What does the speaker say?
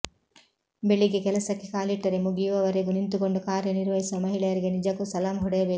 ಬೆಳಿಗ್ಗೆ ಕೆಲಸಕ್ಕೆ ಕಾಲಿಟ್ಟರೆ ಮುಗಿಯುವವರೆಗೂ ನಿಂತುಕೊಂಡು ಕಾರ್ಯ ನಿರ್ವಹಿಸುವ ಮಹಿಳೆಯರಿಗೆ ನಿಜಕ್ಕೂ ಸಲಾಂ ಹೊಡೆಯಬೇಕು